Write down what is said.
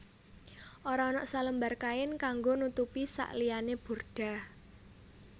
Ora ana selembar kain kanggo nutupi sakliyane burdah